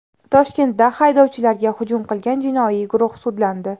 Toshkentda haydovchilarga hujum qilgan jinoiy guruh sudlandi.